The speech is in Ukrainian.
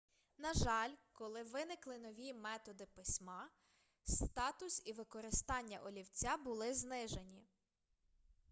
на жаль коли виникли нові методи письма статус і використання олівця були знижені